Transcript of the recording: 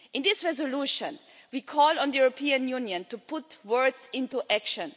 In this resolution we call on the European Union to put words into action.